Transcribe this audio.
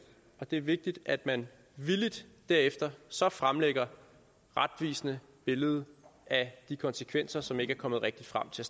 og det er vigtigt at man villigt derefter så fremlægger et retvisende billede af de konsekvenser som ikke er kommet rigtigt frem til